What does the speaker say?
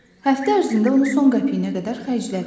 Həftə ərzində onu son qəpiyinə qədər xərclədi.